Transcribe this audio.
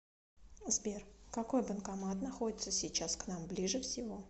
сбер какой банкомат находится сейчас к нам ближе всего